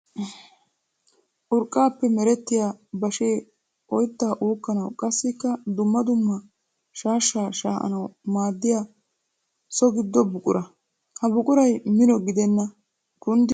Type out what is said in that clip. Urqqappe meretiya bashshee oytta uukkanawu qassikka dumma dumma shaashsha shaa'annawu maadiya so gido buqura. Ha buquray mino gidenna kunddikko meqqiya buqura.